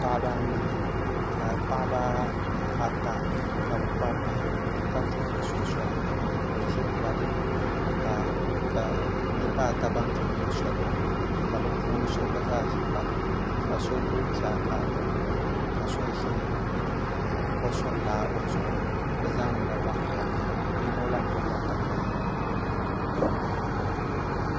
Paɣaba anahi ka paɣaba ata ka bi kpabi bihi ka tuhuri so soli ka o ʒiri kpalaŋa ka niraba ata ban tuhuro soli maa ka bi so gba zaa ʒiri kpalaŋa ka so gbubi chaaka o nuuni ka so ʒi kosuri laa o zuɣuni bi zaa nyɛla ban kpabi bihi yino lahi gbubila katawiya